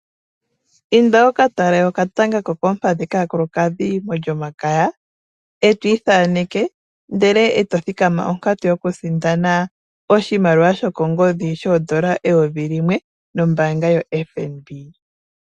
Inda wu ka tale okatanga ko koompadhi kaakulukadhi mOlyomakaya e to ithaneke ndele eto thikama onkatu yokusindana oshimaliwa shokongodhi shoondola eyovi limwe nombaanga yoFNB.